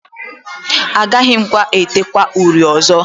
Agaghị m edekwa uri ọzọ